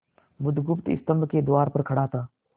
बुधगुप्त स्तंभ के द्वार पर खड़ा था